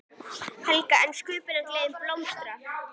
Helga: En sköpunargleðin blómstrar?